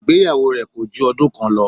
Ìgbéyàwó rẹ̀ kòju ọdún kan lọ